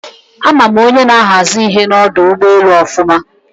A ma m onye na-ahazi ihe n'odu ugboelu ofuma